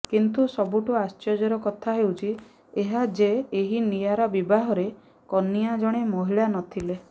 କିନ୍ତୁ ସବୁଠୁ ଆଶ୍ଚର୍ଯ୍ୟର କଥା ହେଉଛି ଏହା ଯେ ଏହି ନିଆରା ବିବାହରେ କନିଆଁ ଜଣେ ମହିଳା ନଥିଲେ